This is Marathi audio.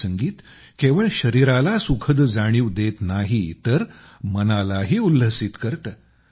हे संगीत केवळ शरिराला सुखद जाणीव देत नाही तर मनालाही उल्हसित करते